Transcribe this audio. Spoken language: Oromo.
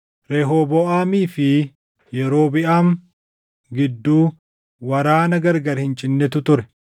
Rehooboʼaamii fi Yerobiʼaam gidduu waraana gargari hin cinnetu ture.